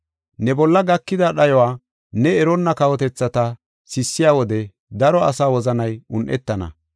Ne bolla gakida dhayuwa ne eronna kawotethata sissiya wode daro asa wozanay un7ethana.